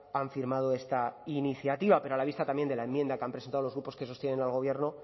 han firmado esta iniciativa pero a la vista también de la enmienda que han presentado los grupos que sostienen al gobierno